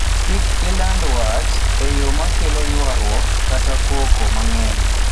Kik iland wach e yo makelo ywaruok kata koko mang'eny.